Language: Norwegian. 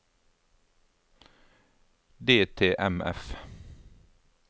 DTMF